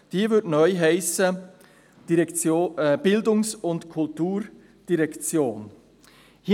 Diese würde neu «Bildungs- und Kulturdirektion» heissen.